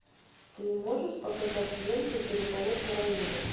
ты можешь показать ленту переполох на районе